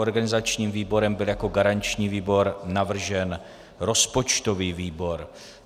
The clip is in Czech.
Organizačním výborem byl jako garanční výbor navržen rozpočtový výbor.